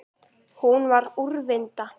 Hún var úrvinda.